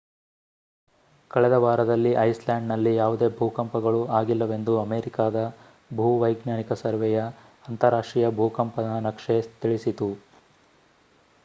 ಕಳೆದ ವಾರದಲ್ಲಿ ಐಸ್‍‌ಲ್ಯಾಂಡ್‌ನಲ್ಲಿ ಯಾವುದೇ ಭೂಕಂಪಗಳು ಆಗಿಲ್ಲವೆಂದು ಅಮೇರಿಕಾದ ಭೂವೈಜ್ಞಾನಿಕ ಸರ್ವೆಯ ಅಂತಾರಾಷ್ಟ್ರೀಯ ಭೂಕಂಪನ ನಕ್ಷೆ ತಿಳಿಸಿತು